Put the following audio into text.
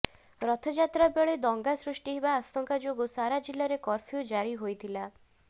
ରଥଯାତ୍ରା ବେଳେ ଦଙ୍ଗା ସୃଷ୍ଟି ହେବା ଆଶଙ୍କା ଯୋଗୁ ସାରା ଜିଲ୍ଲାରେ କର୍ଫ୍ୟୁ ଜାରୀ ହୋଇଥିଲା